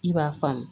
I b'a faamu